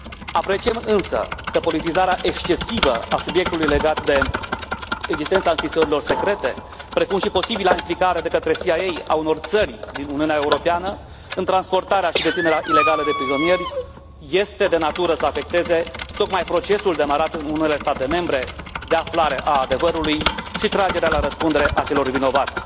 Apreciem însă că politizarea excesivă a subiectului legat de existența închisorilor secrete, precum și posibila implicare de către CIA a unor țări din Uniunea Europeană în transportarea și deținerea ilegală de prizonieri este de natură să afecteze tocmai procesul demarat în unele state membre de aflare a adevărului și tragerea la răspundere a celor vinovați.